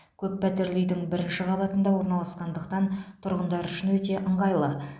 көп пәтерлі үйдің бірінші қабатында орналасқандықтан тұрғындар үшін өте ыңғайлы